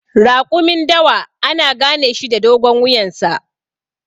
Raƙumin dawa ana ganeshi da dogon wuyansa.